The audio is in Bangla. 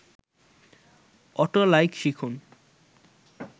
অটো লাইক শিখুন